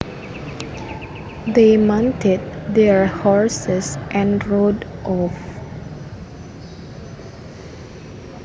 They mounted their horses and rode off